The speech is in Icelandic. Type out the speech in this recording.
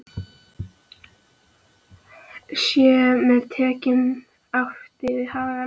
Sé með tekjum átt við hagnað?